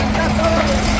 Tamam.